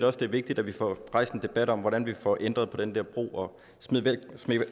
også det er vigtigt at vi får rejst en debat om hvordan vi får ændret på den der brug og